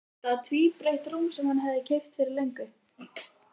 Þetta var tvíbreitt rúm sem hann hafði keypt fyrir löngu.